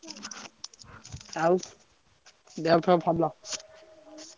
ଆଉ ଦେହପେହ ଭଲ?